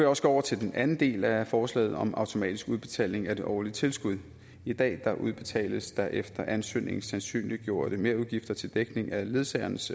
også gå over til den del af forslaget om automatisk udbetaling af det årlige tilskud i dag udbetales der efter ansøgning sandsynliggjorte merudgifter til dækning af ledsagerens